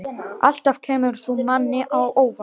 Alltaf kemur þú manni á óvart.